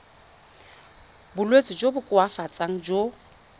bolwetsi jo bo koafatsang jo